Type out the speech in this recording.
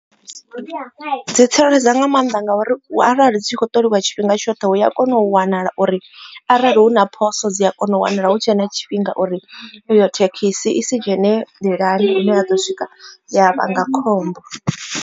Dzi tsireledza nga maanḓa ngauri arali dzi tshi khou ṱoliwa tshifhinga tshoṱhe u ya kona u wanala uri arali hu na phoso dzi a kona u wanala hu tshe na tshifhinga uri i yo thekhisi i si dzhene nḓilani ine ya ḓo swika ya vhanga khombo.